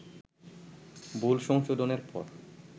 ভুল সংশোধনের পর